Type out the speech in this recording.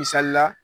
Misali la